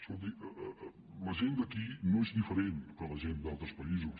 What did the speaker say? escolti la gent d’aquí no és diferent de la gent d’altres països